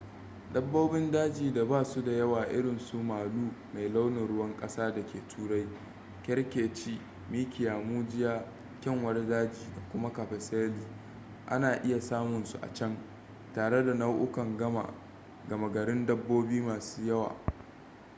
dabbobin daji da ba su da yawa irin su malu mai launin ruwan kasa da ke turai kerkeci mikiya mujiya kyanwar daji da kuma capercaillie a na iya samun su a can tare da nau'ukan gama garin dabbobi masu yawa